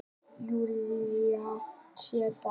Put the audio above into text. Júlía sér það.